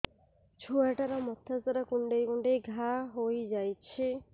ଛୁଆଟାର ମଥା ସାରା କୁଂଡେଇ କୁଂଡେଇ ଘାଆ ହୋଇ ଯାଇଛି